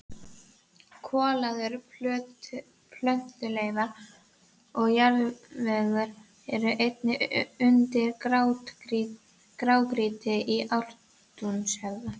Kolaðar plöntuleifar og jarðvegur eru einnig undir grágrýtinu í Ártúnshöfða.